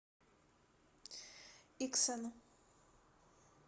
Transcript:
иксан